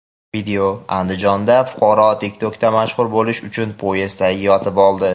Video: Andijonda fuqaro TikTok’da mashhur bo‘lish uchun poyezd tagiga yotib oldi.